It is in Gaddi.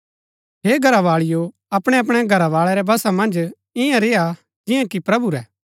हे घरावाळिओ अपणैअपणै घरवाळै रै वशा मन्ज इआं रेय्आ जिआं कि प्रभु रै